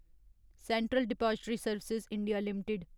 central depository service India limited